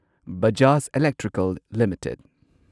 Bajaj electrical limited